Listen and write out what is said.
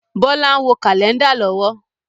Bọlá ń wo Kálẹ́ndà lọ́wọ́